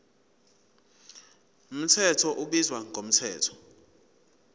mthetho ubizwa ngomthetho